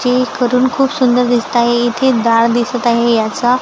ही खरुन खूप सुंदर दिसत आहे इथे दाळ दिसत आहे याचा--